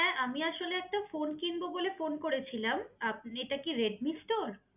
হ্যাঁ আমি আসলে একটা ফোন কিনবো বলে ফোন করে ছিলাম এটা কি রেডমি স্টোর?